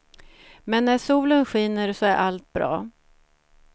Men när solen skiner så är allt bra.